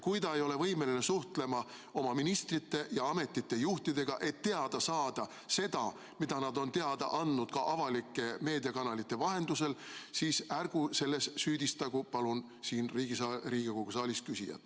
Kui ta ei ole võimeline suhtlema oma ministrite ja ametite juhtidega, et teada saada, mida nad on ka avalike meediakanalite vahendusel teada andnud, siis palun ärgu süüdistagu selles Riigikogu saalis küsijat.